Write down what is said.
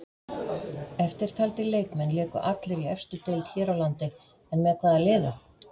Eftirtaldir leikmenn léku allir í efstu deild hér á landi en með hvaða liðum?